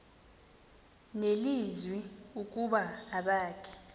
nelizwi ukuba abakhe